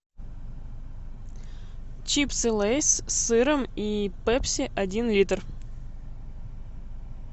чипсы лейс с сыром и пепси один литр